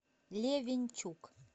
левенчук